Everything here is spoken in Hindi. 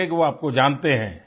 होंगे कि वो आपको जानते हैं